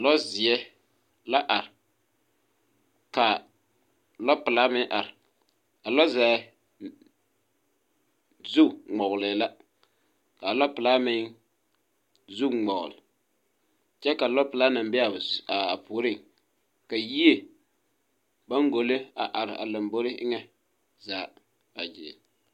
Lɔɔzeɛ la ar, kaa lɔpelaa meŋ ar. A lɔzɔɛ... zu ŋmɔge la, k'a lɔpelaa meŋ zu ŋmɔɔl, kyɛ ka lɔpelaa naŋ be a puoriŋ. Ka yie baŋgolle a ar a lamboore eŋɛ zaa a gyeere.